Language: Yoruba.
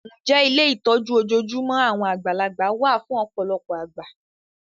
Ǹjẹ́ ilé ìtọ́jú ojoojúmọ́ àwọn àgbàlagbà wá fún ọ̀pọ̀lọpọ̀ àgbà?